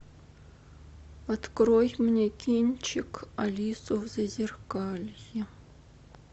открой мне кинчик алису в зазеркалье